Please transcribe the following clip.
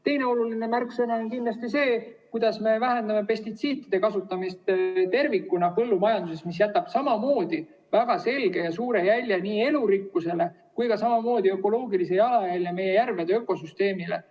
Teine oluline märksõna on kindlasti see, kuidas me põllumajanduses vähendame pestitsiidide kasutamist tervikuna, mis jätab samamoodi väga selge ja suure jälje nii elurikkusele kui ka samamoodi ökoloogilise jalajälje meie järvede ökosüsteemile.